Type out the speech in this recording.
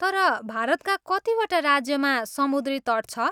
तर, भारतका कतिवटा राज्यमा समुद्री तट छ?